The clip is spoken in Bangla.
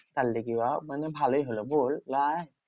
তার লেগে উহা মানে ভালোই হলো বল লয়?